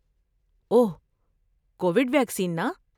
اوہ، Covid vaccine نا؟